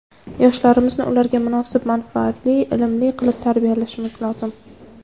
Yoshlarimizni ularga munosib ma’rifatli, ilmli qilib tarbiyalashimiz lozim.